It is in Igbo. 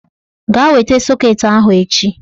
Gaa weta sọket ahụ echi!